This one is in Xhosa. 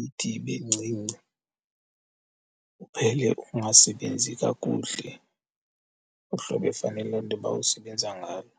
ithi ibe ncinci uphele ungasebenzi kakuhle uhlobo efanele intoba usebenza ngalo.